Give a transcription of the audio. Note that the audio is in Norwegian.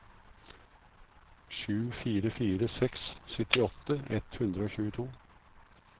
sju fire fire seks syttiåtte ett hundre og tjueto